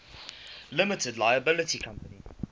limited liability company